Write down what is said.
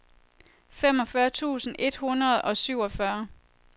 femogfyrre tusind et hundrede og syvogfyrre